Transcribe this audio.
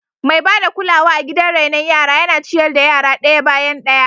Mai ba da kulawa a gidan raino yara yana ciyar da yaran daya bayan daya.